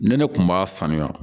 Ne ne kun b'a faamuya